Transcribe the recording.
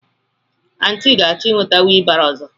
Aunty ga-achọ ị nweta wheelbarrow ọzọ.